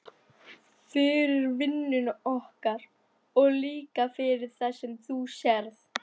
Fyrir vinnuna okkar og líka fyrir það sem þú sérð.